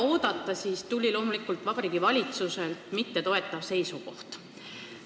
Nagu oligi oodata, Vabariigi Valitsuselt loomulikult toetust ei tulnud.